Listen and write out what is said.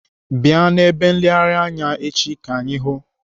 Bịa n'ebe nleghari anya echi ka anyị hụụ!